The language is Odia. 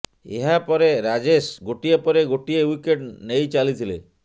ଏହା ପରେ ରାଜେଶ ଗୋଟିଏ ପରେ ଗୋଟିଏ ୱିକେଟ୍ ନେଇଚାଲିଥିଲେ